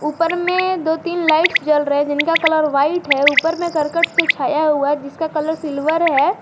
ऊपर में दो तीन लाइट्स जल रहे हैं जिनका कलर व्हाइट है ऊपर में करकट से छाया हुआ है जिसका कलर सिल्वर है।